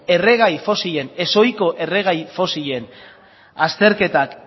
erregai fosilen ezohiko erregai fosilen azterketak